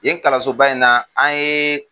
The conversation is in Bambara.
Yen kalanso ba in na an ye